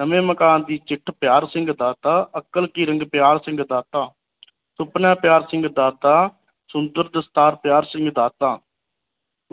ਨਵੇਂ ਮਕਾਨ ਦੀ ਚਿੱਠ ਪਿਆਰ ਸਿੰਘ ਦਾਤਾ ਅਕਲ ਪਿਆਰ ਸਿੰਘ ਦਾਤਾ ਸੁਪਨਾ ਪਿਆਰ ਸਿੰਘ ਦਾਤਾ ਸੁੰਦਰ ਦਸਤਾਰ ਪਿਆਰ ਸਿੰਘ ਦਾਤਾ